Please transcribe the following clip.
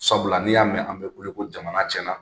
Sabula n'i y'a mɛn an bɛ kule ko jamana cɛnna,